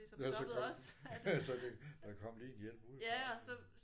Nåh så kom så det der kom lige en hjælp udefra